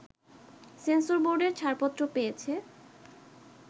সেন্সরবোর্ডের ছাড়পত্র পেয়েছে